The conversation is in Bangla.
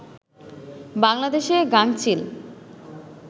বাংলাদেশে গাঙচিল